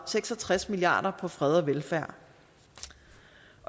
seks og tres milliard kroner på fred og velfærd